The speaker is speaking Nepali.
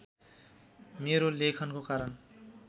मेरो लेखनको कारण